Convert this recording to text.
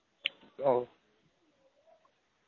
wow